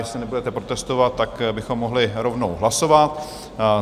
Jestli nebudete protestovat, tak bychom mohli rovnou hlasovat.